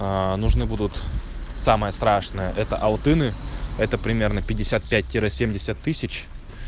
нужны будут самое страшное это алтыны это примерно пятьдесят пять семьдесят тысяч